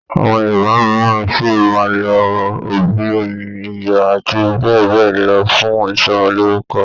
Àwọn Yorùbá mìíràn sí máa n lo obì, oyin, iyọ̀ àti bẹ́ẹ̀ bẹ́ẹ̀ lọ fún ìsọmọlorúkọ.